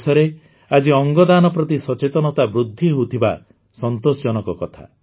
ଦେଶରେ ଆଜି ଅଙ୍ଗଦାନ ପ୍ରତି ସଚେତନତା ବୃଦ୍ଧି ହେଉଥିବା ସନ୍ତୋଷଜନକ କଥା